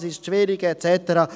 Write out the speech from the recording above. Das sei zu schwierig et cetera.